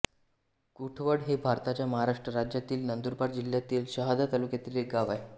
कुढवड हे भारताच्या महाराष्ट्र राज्यातील नंदुरबार जिल्ह्यातील शहादा तालुक्यातील एक गाव आहे